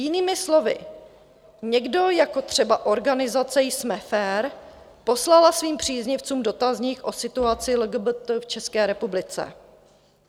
Jinými slovy, někdo, jako třeba organizace Jsme fér, poslala svým příznivcům dotazník o situaci LGBT v České republice.